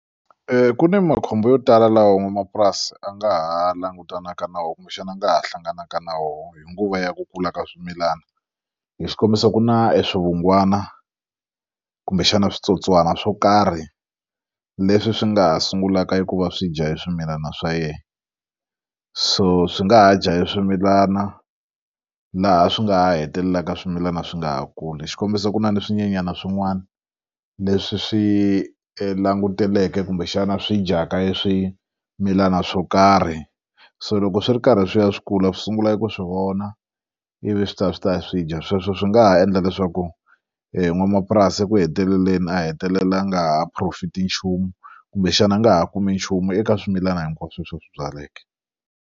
Ku ni makhombo yo tala lawa n'wamapurasi a nga ha langutanaka nawu kumbexana a nga ha hlanganaka na wona hi nguva ya ku kula ka swimilana hi xikombiso ku na eswivungwana kumbexana switsotswana swo karhi leswi swi nga ha sungulaka eku va swi dya e swimilana swa yena so swi nga ha dya eswimilana laha swi nga ha hetelelaka swimilana swi nga ha kuli xikombiso ku na ni swinyenyana swin'wana leswi swi languteleke kumbexana swi dyaka e swimilana swo karhi so loko swi ri karhi swi ya swi kula swi sungula eku swi vona ivi swi ta swi ta swi dya sweswo swi nga ha endla leswaku n'wanamapurasi eku heteleleni a hetelela a nga ha profit nchumu kumbexana a nga ha kumi nchumu eka swimilana hinkwaswo leswi va swi byaleke.